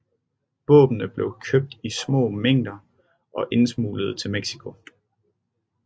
Våbnene bliver købt i små mængder og indsmuglet til Mexico